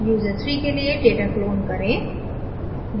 user3 के लिए data clone करें